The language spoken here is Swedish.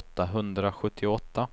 åttahundrasjuttioåtta